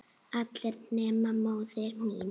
allir nema móðir mín